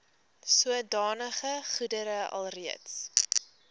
sodanige goedere alreeds